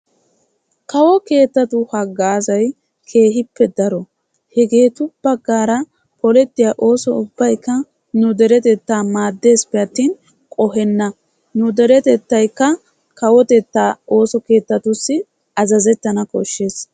Kawo keettattu asay keehippe daro ayssi giikko hegeetu bagaara oosettiya oosoy asaa maadesippe atin qohenana.